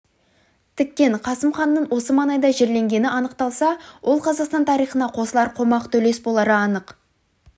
тіккен қасым ханның осы маңайда жерленгені анықталса ол қазақстан тарихына қосылар қомақты үлес болары анық